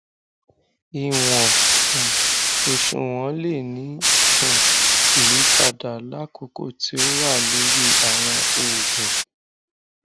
iwọn um oṣuwọn le ni um iyipada lakoko ti o wa lori awọn oogun